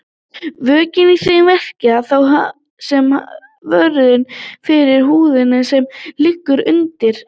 Vökvinn í þeim verkar þá sem vörn fyrir húðina sem liggur undir.